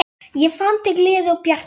Ég fann til gleði og bjartsýni.